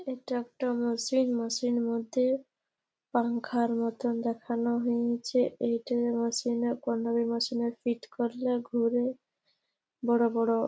এটা একটা মসজিদ। মসজিদের মধ্যে পাঙ্খার মতো দেখানো হইঞ্চে। এইটা মেশিন এ মেশিন এ ফিট করলে ঘুরে। বড় বড় --